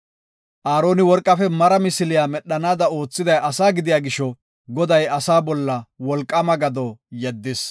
Aaroni worqafe mara misiliya medhanaada oothiday asaa gidiya gisho, Goday asaa bolla wolqaama gado yeddis.